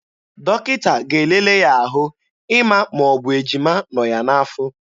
Dọkịta ga-elele ya ahụ ịma ma ọ bụ ejima nọ ya n'afọ.